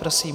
Prosím.